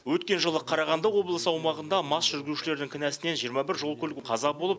өткен жылы қарағанды облысы аумағында мас жүргізушілердің кінәсінен жиырма бір жол көлік қаза болып